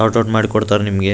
ಸಾರ್ಟ out ಮಾಡಿ ಕೊಡ್ತಾರ್ ನಿಮಗೆ.